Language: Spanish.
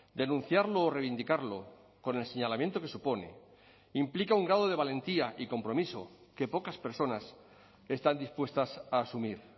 denunciarlo o reivindicarlo con el señalamiento que supone implica un grado de valentía y compromiso que pocas personas están dispuestas a asumir